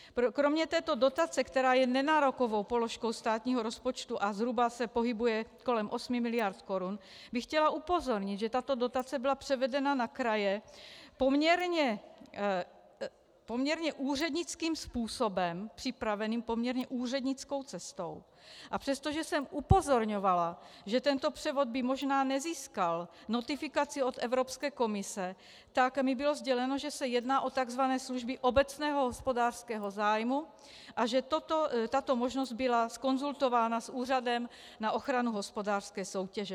Kromě této dotace, která je nenárokovou položkou státního rozpočtu a zhruba se pohybuje kolem 8 miliard korun, bych chtěla upozornit, že tato dotace byla převedena na kraje poměrně úřednickým způsobem, připraveným poměrně úřednickou cestou, a přestože jsem upozorňovala, že tento převod by možná nezískal notifikaci od Evropské komise, tak mi bylo sděleno, že se jedná o tzv. služby obecného hospodářského zájmu a že tato možnost byla konzultována s Úřadem na ochranu hospodářské soutěže.